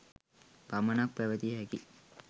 පමණක් පැවතිය හැකියි.